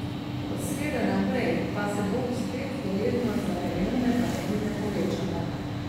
Od srede naprej pa se bo spet verjetnost za krajevne padavine povečala.